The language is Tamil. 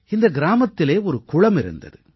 இந்த கிராமத்திலே ஒரு குளம் இருந்தது